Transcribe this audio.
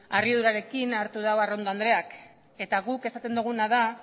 harridurarekin hartu du arrondo andreak eta guk esaten duguna da